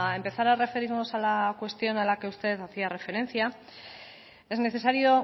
empezar a referirnos a la cuestión a la que usted hacía referencia es necesario